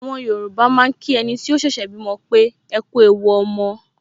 Àwọn Yorùbá máa ń kí ẹniti ó ṣẹ̀ṣẹ̀ bímọ pé "ekú ewu ọmọ"